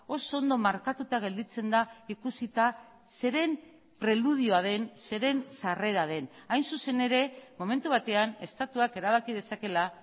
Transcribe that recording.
oso ondo markatuta gelditzen da ikusita zeren preludioa den zeren sarrera den hain zuzen ere momentu batean estatuak erabaki dezakeela